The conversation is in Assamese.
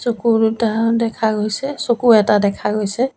চকু দুটাও দেখা গৈছে চকু এটা দেখা গৈছে।